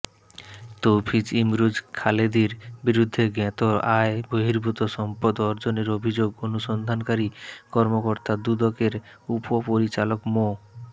তৌফিজ ইমরোজ খালেদীর বিরুদ্ধে জ্ঞাত আয় বহির্ভূত সম্পদ অর্জনের অভিযোগ অনুসন্ধানকারী কর্মকর্তা দুদকের উপপরিচালক মো